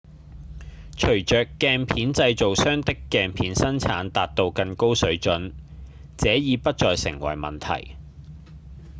隨著鏡片製造商的鏡片生產達到更高水準這已不再成為問題